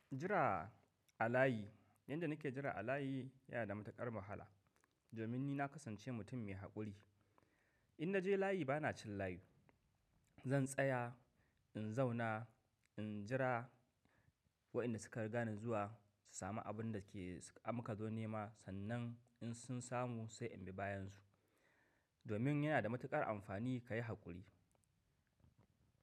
Jira a layi, yanda nake jira a layi yana da matuƙar wahala. Domin ni na kasance mutum mai haƙuri. In naje layi bana cin layi. Zan tsaya, in zauna, in jira waɗanda suka riga ni zuwa su sami abun da suka amka zo nema, sannan in sun samu sai in bi bayan su. Domin yana da matuƙar amfani ka yi haƙuri.